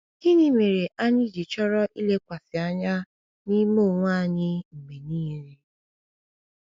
Gịnị mere anyị ji chọrọ ilekwasị anya n’ime onwe anyị mgbe niile?